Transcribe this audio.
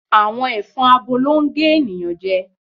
Àwọn ẹ̀fọn abo ló ń gé ènìyàn jẹ